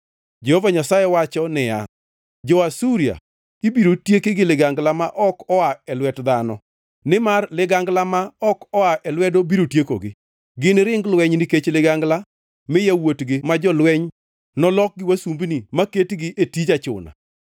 Jehova Nyasaye wacho niya, “Jo-Asuria ibiro tieki gi ligangla ma ok oa e lwet dhano; nimar ligangla ma ok oa e lwedo biro tiekogi. Giniring lweny nikech ligangla, mi yawuotgi ma jolweny nolokgi wasumbini maketgi e tij achuna.